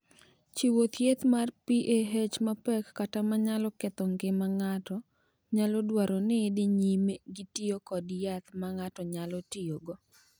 "Chiwo thieth mar PAH mapek kata ma nyalo ketho ngima ng’ato nyalo dwaro ni idhi nyime gi tiyo kod yath ma ng’ato nyalo tiyogo."